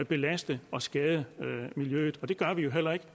belaste og skade miljøet det gør vi heller ikke